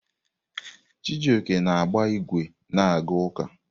Chijioke na-agba ígwè na-aga ụka.